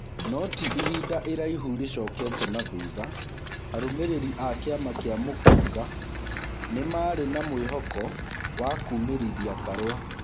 No ti ihinda iraihũrĩcokete na thutha, arũmĩrĩri a kĩama kĩa mũkũnga nĩ marĩ na mwĩhoko wa kumĩrithia Karua.